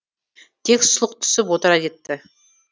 тек сұлқ түсіп отыра кетті